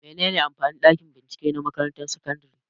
Mene ne amfanin ɗakin bincike na makarantar sakandare?